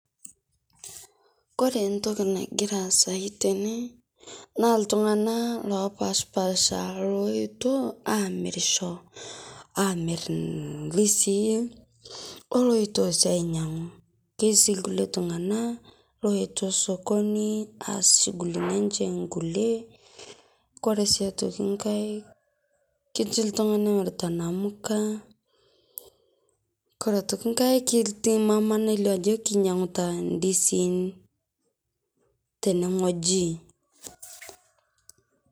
Kore ntokii nagira aisai tene naa ltung'ana lopashpaasha loetio amiirisho amiir ndisii oloetio sii ainyang'u ndisii nkulee ltung'ana loetio sokonii aas shungulini enchee nkulee. Kore sii aitokii nkaai ketii ltung'ana omiritaa namukaa. Kore aitokii nkaai ketii mamaa naileo ajoo ainyang'utaa ndisiin tene ng'ojii.